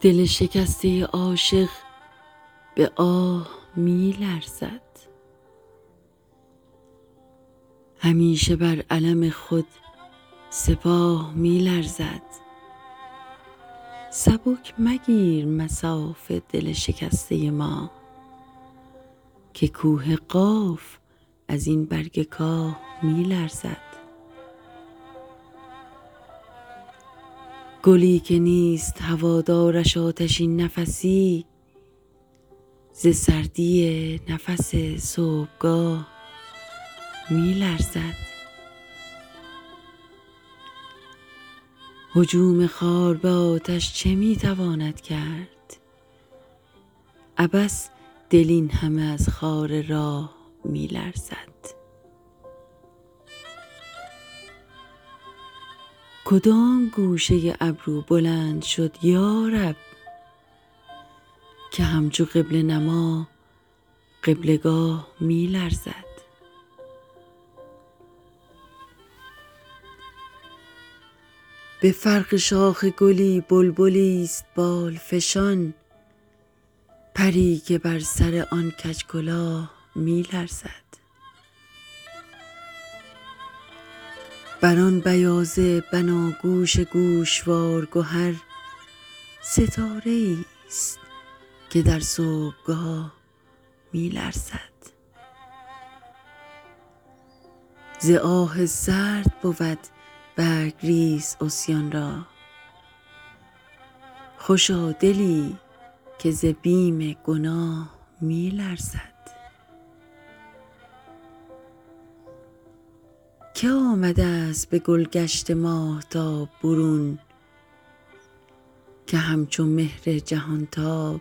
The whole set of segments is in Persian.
دل شکسته عاشق به آه می لرزد همیشه بر علم خود سپاه می لرزد سبک مگیر مصاف دل شکسته ما که کوه قاف ازین برگ کاه می لرزد گلی که نیست هوادارش آتشین نفسی ز سردی نفس صبحگاه می لرزد هجوم خار به آتش چه می تواند کرد عبث دل اینهمه از خار راه می لرزد کدام گوشه ابرو بلند شد یارب که همچو قبله نما قبله گاه می لرزد به فرق شاخ گلی بلبلی است بال فشان پری که بر سر آن کج کلاه می لرزد بر آن بیاض بناگوش گوشوار گهر ستاره ای است که در صبحگاه می لرزد ز آه سرد بود برگریز عصیان را خوشا دلی که ز بیم گناه می لرزد که آمده است به گلگشت ماهتاب برون که همچو مهر جهانتاب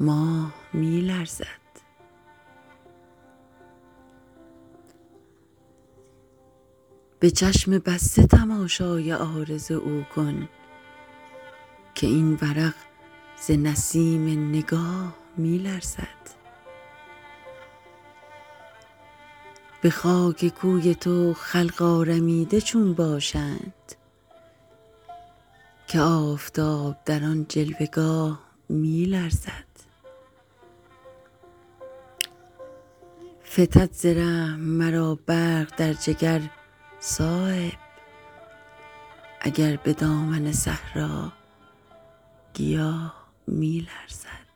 ماه می لرزد به چشم بسته تماشای عارض او کن که این ورق ز نسیم نگاه می لرزد به خاک کوی تو خلق آرمیده چون باشند که آفتاب در آن جلوه گاه می لرزد فتد ز رحم مرا برق در جگر صایب اگر به دامن صحرا گیاه می لرزد